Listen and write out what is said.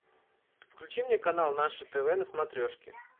включи мне канал наше тв на смотрешке